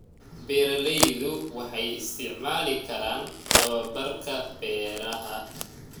Beeraleydu waxay isticmaali karaan tababarka beeraha.